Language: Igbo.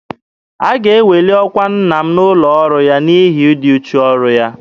A ga-eweli ọkwa nna m n'ụlọ ọrụ ya n'ihi ịdị uchu n'ọrụ ya.